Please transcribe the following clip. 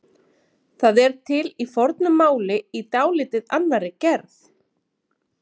Það er til í fornu máli í dálítið annarri gerð.